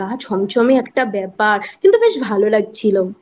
ছমছমে একটা ব্যাপার কিন্তু বেশ ভালো লাগছিলো